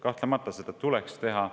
Kahtlemata tuleks seda teha.